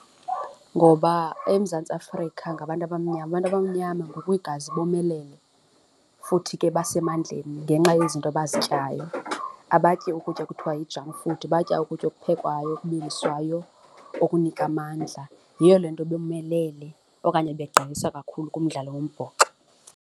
Ngoba eMzantsi Afrika ngabantu abamnyama, abantu abamnyama ngokwegazi bomelele futhi ke basemandleni ngenxa yezinto abazityayo. Abatyi ukutya kuthiwa yi-junk food. Batya ukutya okuphekwayo, okubiliswayo okunika amandla. Yiyo le nto bomelele okanye begqeyesa kakhulu kumdlalo wombhoxo.